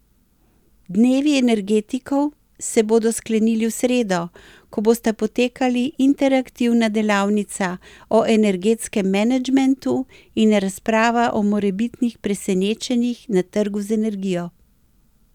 Dnevi energetikov se bodo sklenili v sredo, ko bosta potekali interaktivna delavnica o energetskem menedžmentu in razprava o morebitnih presenečenjih na trgu z energijo.